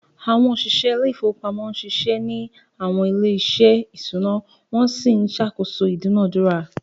Àwọn òṣìṣẹ́ ilé ìfowópamọ́ ń ṣiṣẹ́ ní àwọn ilé-iṣẹ́ ìṣúná wọ́n sì ń ṣàkóso ìdúnàádúrà.